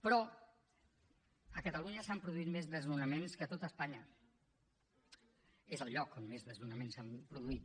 però a catalunya s’han produït més desnonaments que a tot espanya és el lloc on més desnonaments s’han produït